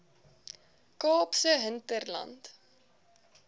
kaapse hinterland